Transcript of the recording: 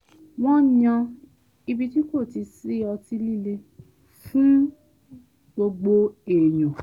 wọ́n yan ibi tí kò ti sí ọtí líle fún gbogbo èèyàn